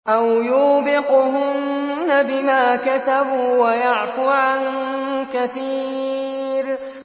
أَوْ يُوبِقْهُنَّ بِمَا كَسَبُوا وَيَعْفُ عَن كَثِيرٍ